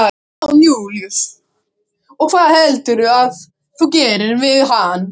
Jón Júlíus: Og hvað heldurðu að þú gerir við hann?